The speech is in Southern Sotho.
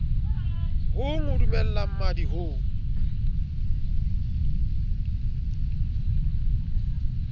hong ho dumella mmadi ho